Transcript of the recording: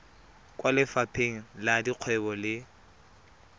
kwa lefapheng la dikgwebo le